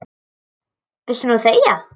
Núna viltu þegja.